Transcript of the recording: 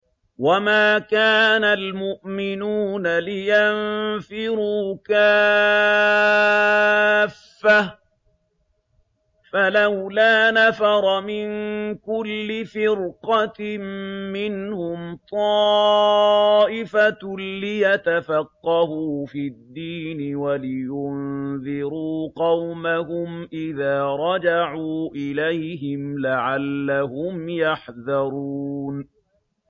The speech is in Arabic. ۞ وَمَا كَانَ الْمُؤْمِنُونَ لِيَنفِرُوا كَافَّةً ۚ فَلَوْلَا نَفَرَ مِن كُلِّ فِرْقَةٍ مِّنْهُمْ طَائِفَةٌ لِّيَتَفَقَّهُوا فِي الدِّينِ وَلِيُنذِرُوا قَوْمَهُمْ إِذَا رَجَعُوا إِلَيْهِمْ لَعَلَّهُمْ يَحْذَرُونَ